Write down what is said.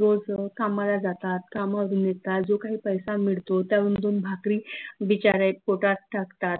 रोज कामाला जातात काम मिळतात जो काही पैसा मिडतो त्यावरून दोन भाकरी बिचारे पोटात टाकतात